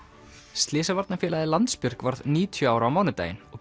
slysavarnafélagið Landsbjörg varð níutíu ára á mánudaginn og